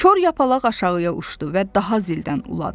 Kor yapalaq aşağıya uçdu və daha zildən uladı.